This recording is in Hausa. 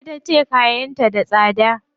Ita tace kayan ta da tsada.